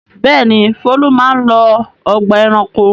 Bẹ́ẹ̀ni, Folu máa ń lọ ọgbà-ẹranko.